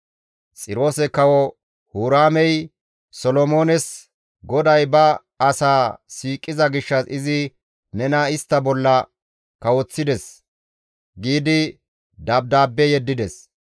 Xiroose Kawo Huraamey Solomoones, «GODAY ba asaa siiqiza gishshas izi nena istta bolla kawoththides» giidi dabdaabbe yeddides.